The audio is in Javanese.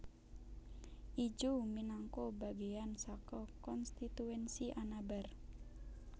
Ijuw minangka bagéan saka konstituensi Anabar